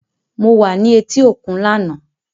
Mo wa ni eti okun lana.